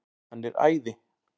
Hann er æði.